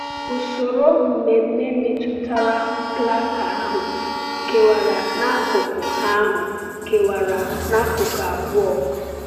Usoro mmemme metụtara plaka ahụ kewara n’akụkụ ahụ kewara n’akụkụ abụọ.